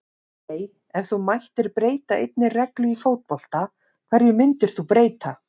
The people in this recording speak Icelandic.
nei Ef þú mættir breyta einni reglu í fótbolta, hverju myndir þú breyta?